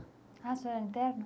Ah, o senhor era interno?